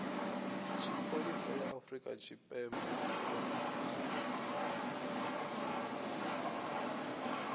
tshipholisa ya afrika tshipembe saps